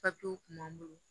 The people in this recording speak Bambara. Papiyew kun b'an bolo